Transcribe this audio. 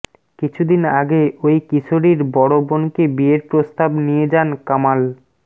কিছুদিন আগে ওই কিশোরীর বড় বোনকে বিয়ের প্রস্তাব নিয়ে যান কামাল